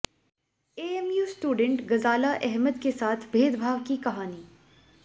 AMU student Ghazala Ahmad के साथ भेदभाव की कहानी